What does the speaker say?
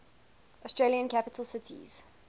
australian capital cities